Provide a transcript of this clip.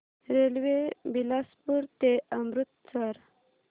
railway Bilaspur ते अमृतसर